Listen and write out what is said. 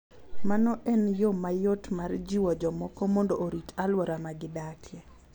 Mano en yo mayot mar jiwo jomoko mondo orit alwora ma gidakie.